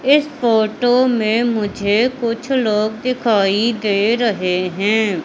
इस फोटो में मुझे कुछ लोग दिखाई दे रहे हैं।